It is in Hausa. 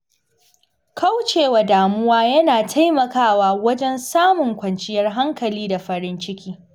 Kaucewa damuwa yana taimakawa wajen samun kwanciyar hankali da farin ciki.